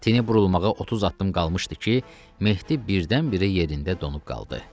Təpənin burulmağına 30 addım qalmışdı ki, Mehdi birdən-birə yerində donub qaldı.